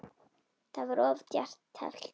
Það var of djarft teflt.